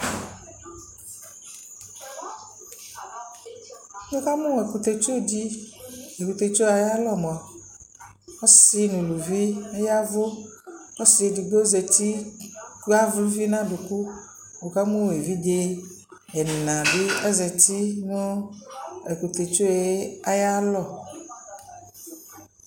Nika mu ɛkutɛtsudi ɛkutɛtsuɛ ayalɔ mua ɔsi nu ulʊvi yavʊ ɔsi edigbo zɛti ku avlʊvi nu aduku nukamu ɛvidze ɛnabi ɛzeti nu ɛkutɛtsue ayalɔ